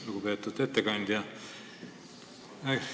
Lugupeetud ettekandja!